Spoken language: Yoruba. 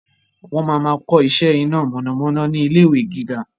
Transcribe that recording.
Wọn máa ma kọ iṣẹ́ iná mọ̀nàmọ́ná ni ilé ìwé gíga